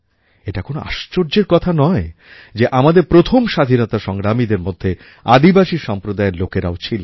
এটা কোনো আশ্চর্যের কথা নয় যে আমাদের প্রথম স্বাধীনতা সংগ্রামীদের মধ্যে আদিবাসী সম্প্রদায়ের লোকেরাও ছিলেন